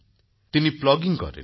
তিনিপ্লগিং করেন